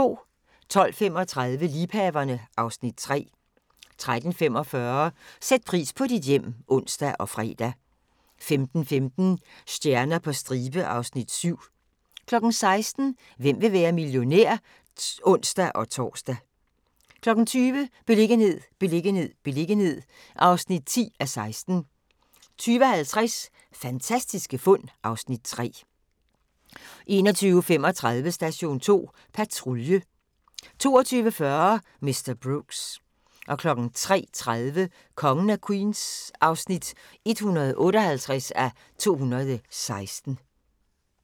12:35: Liebhaverne (Afs. 3) 13:45: Sæt pris på dit hjem (ons og fre) 15:15: Stjerner på stribe (Afs. 7) 16:00: Hvem vil være millionær? (ons-tor) 20:00: Beliggenhed, beliggenhed, beliggenhed (10:16) 20:50: Fantastiske fund (Afs. 3) 21:35: Station 2 Patrulje 22:40: Mr. Brooks 03:30: Kongen af Queens (158:216)